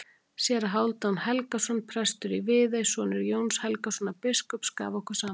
Séra Hálfdan Helgason, prestur í Viðey, sonur Jóns Helgasonar biskups, gaf okkur saman.